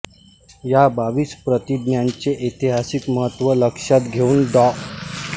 या बावीस प्रतिज्ञांचे ऐतिहासिक महत्त्व लक्षात घेऊन डॉ